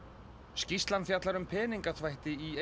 skýrslan fjallar um peningaþvætti í